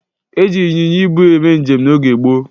E jiri ịnyịnya ibu eme njem n'oge gboo.